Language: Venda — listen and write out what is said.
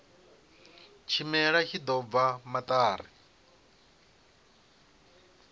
tshimela tshi ḓo bva maṱari